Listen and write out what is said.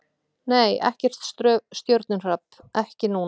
Nei, ekkert stjörnuhrap, ekki núna.